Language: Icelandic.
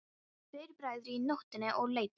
Tveir bræður í nóttinni og leiddust.